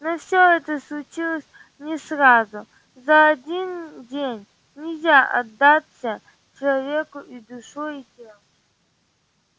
но всё это случилось не сразу за один день нельзя отдаться человеку и душой и телом